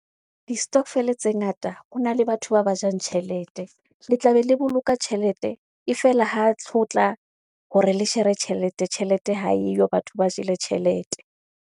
Di-stokvel tse ngata ho na le batho ba ba jang tjhelete. Le tla be le boloka tjhelete e fela ha ho tlo tla hore le shere tjhelete, tjhelete ha eyo batho ba jele tjhelete.